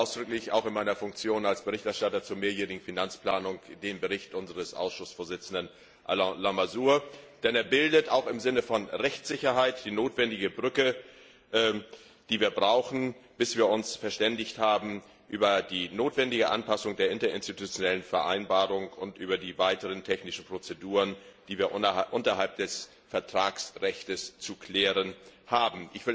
Ich begrüße ausdrücklich auch in meiner Funktion als Berichterstatter zur mehrjährigen Finanzplanung den Bericht unseres Ausschussvorsitzenden Alain Lamassoure, denn er bildet auch im Sinne von Rechtssicherheit die notwendige Brücke, die wir brauchen, bis wir uns über die notwendige Anpassung der Interinstitutionellen Vereinbarung und über die weiteren technischen Prozeduren verständigt haben, die wir unterhalb des Vertragsrechts zu klären haben.